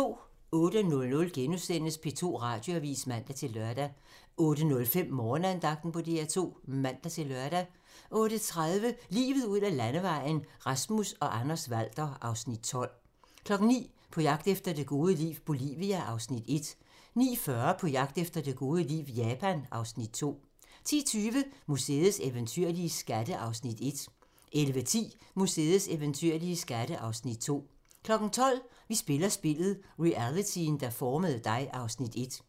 08:00: P2 Radioavis *(man-lør) 08:05: Morgenandagten på DR2 (man-lør) 08:30: Livet ud ad landevejen: Rasmus og Anders Walther (Afs. 12) 09:00: På jagt efter det gode liv - Bolivia (Afs. 1) 09:40: På jagt efter det gode liv - Japan (Afs. 2) 10:20: Museets eventyrlige skatte (Afs. 1) 11:10: Museets eventyrlige skatte (Afs. 2) 12:00: Vi spiller spillet - realityen, der formede dig (Afs. 1)